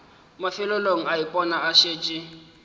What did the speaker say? mafelelong a ipona a šetše